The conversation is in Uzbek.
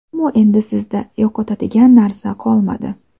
Ammo, endi sizda yo‘qotadigan narsa qolmadi.